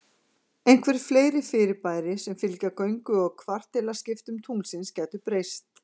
Einhver fleiri fyrirbæri sem fylgja göngu og kvartilaskiptum tunglsins gætu breyst.